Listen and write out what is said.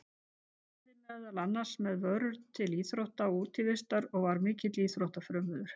Hann verslaði meðal annars með vörur til íþrótta og útivistar og var mikill íþróttafrömuður.